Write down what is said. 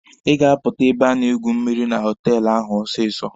Ị ga-apụta ebe a na-egwu mmịrị na họtelụ ahụ ọsịsọ!